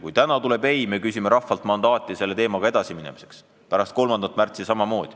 Kui täna tuleb "ei", siis me küsime rahvalt mandaati selle teemaga edasiminemiseks pärast 3. märtsi.